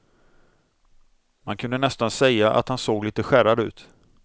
Man kunde nästan säga att han såg lite skärrad ut.